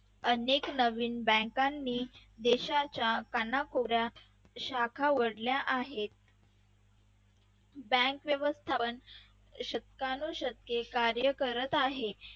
अनेक नवीन bank नी देशाच्या कानाकोपऱ्यात शाखा उघडल्या आहेत. bank व्यवस्थापन शतकानू शतके कार्य करत आहे.